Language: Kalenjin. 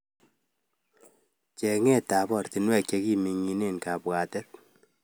Chengset ap oratunwek chekiming'inie kapwatet